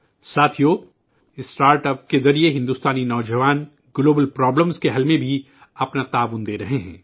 ساتھیو، startups کے ذریعہ بھارتی نوجوان عالمی مسائل کے حل میں اپنا تعاون دے رہے ہیں